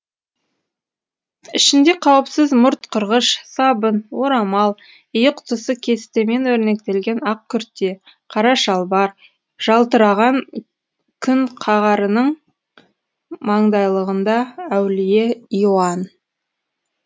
ішінде қауіпсіз мұрт қырғыш сабын орамал иық тұсы кестемен өрнектелген ақ күрте қара шалбар жалтыраған күнқағарының маңдайлығында әулие иоанн